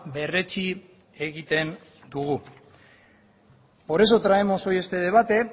berretsi egiten dugu por eso traemos hoy este debate